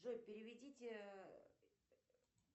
джой переведите